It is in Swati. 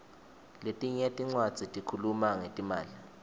letinye tincwadzi tikhuluma ngetimali